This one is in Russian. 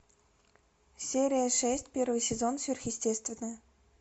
серия шесть первый сезон сверхъестественное